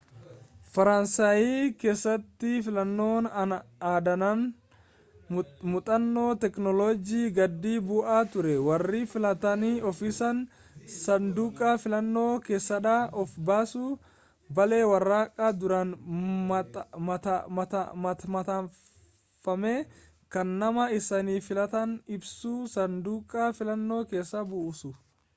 faransaayi keessatti filannoon aadaadhaan muuxannoo teeknoolojii-gadi bu'aa ture warri filatan ofiisaanii saanduqaa filannoo keessaaddaan of baasu baallee waraqaa duraan maxxanfame kan nama isaan filatan ibsu saanduqa filannoo keessa buusu